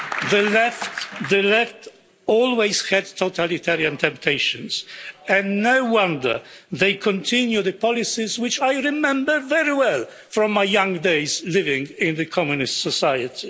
The Left always had totalitarian temptations and no wonder they continue the policies which I remember very well from my young days living in a communist society.